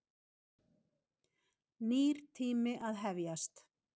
Nýr tími að hefjast.